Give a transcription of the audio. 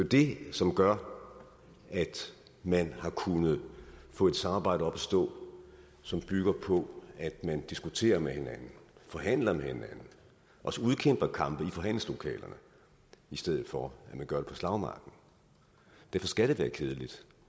det som gør at man har kunnet få et samarbejde op at stå som bygger på at man diskuterer med hinanden forhandler med hinanden også udkæmper kampe i forhandlingslokalerne i stedet for at man gør det på slagmarken derfor skal det være kedeligt